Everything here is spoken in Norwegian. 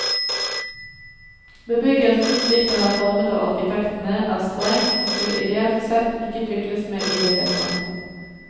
Bebyggelsen, slik den er formet av arkitektene, er streng, og skulle ideelt sett ikke tukles med i det hele tatt.